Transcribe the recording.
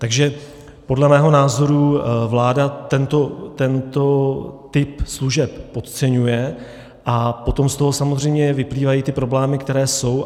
Takže podle mého názoru vláda tento typ služeb podceňuje a potom z toho samozřejmě vyplývají ty problémy, které jsou.